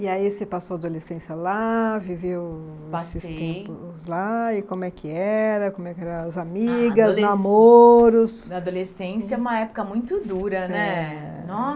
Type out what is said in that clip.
E aí você passou a adolescência lá, viveu, passei, esses tempos lá, e como é que era, como é que eram as amigas, namoros... A adolescência é uma época muito dura, né?